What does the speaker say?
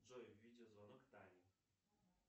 джой видеозвонок тане